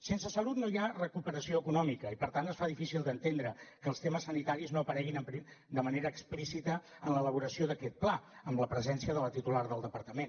sense salut no hi ha recuperació econòmica i per tant es fa difícil d’entendre que els temes sanitaris no apareguin de manera explícita en l’elaboració d’aquest pla amb la presència de la titular del departament